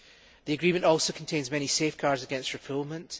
The agreement also contains many safeguards against refoulement.